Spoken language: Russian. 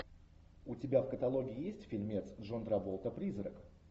у тебя в каталоге есть фильмец джон траволта призрак